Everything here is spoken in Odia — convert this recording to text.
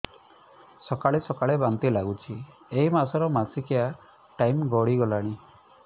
ସକାଳେ ସକାଳେ ବାନ୍ତି ଲାଗୁଚି ଏଇ ମାସ ର ମାସିକିଆ ଟାଇମ ଗଡ଼ି ଗଲାଣି